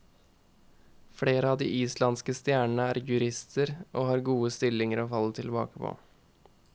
Flere av de islandske stjernene er jurister, og har gode stillinger å falle tilbake på.